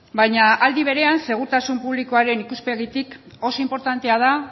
baina aldi berean segurtasun publikoaren ikuspegitik oso inportantea da